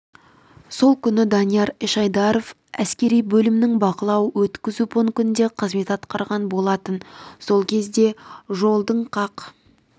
сол күні данияр эшайдаров әскери бөлімінің бақылау-өткізу пунктінде қызмет атқарған болатын сол кезде жолдың қақ